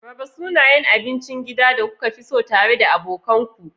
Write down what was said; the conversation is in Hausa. Raba sunayen abincin gida da kuka fi so tare da abokan ku.